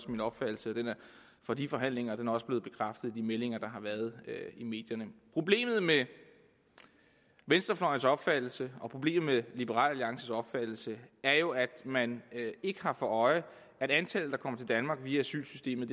min opfattelse fra de forhandlinger og den også blevet bekræftet i de meldinger der har været i medierne problemet med venstrefløjens opfattelse og problemet med liberal alliances opfattelse er jo at man ikke har for øje at antallet der kommer til danmark via asylsystemet